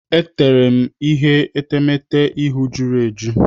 E teere m ihe etemeete ihu jụrụ eju.